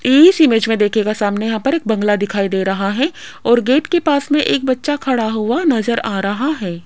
इस इमेज मे देखियेगा सामने यहां पर एक बंगाला दिखाई दे रहा है और गेट के पास मे एक बच्चा खड़ा हुआ नज़र आ रहा है।